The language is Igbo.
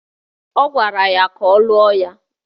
Ọ gwara ya ka ọ lụọ ya